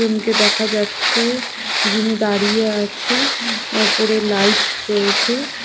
Room -টি দেখা যাচ্ছে যিনি দাঁড়িয়ে আছে ওপরে লাইট রয়েছে।